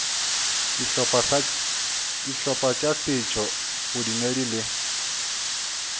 dihlopha tša setšo bodumedi le